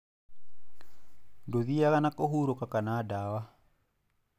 Ndũthiaga na kũhurũka kana ndawa.